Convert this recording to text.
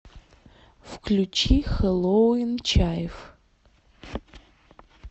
включи хэллоуин чайф